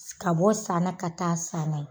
Ka bɔ san na ka taa san na